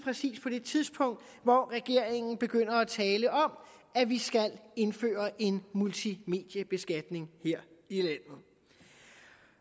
på det tidspunkt hvor regeringen begynder at tale om at vi skal indføre en multimediebeskatning her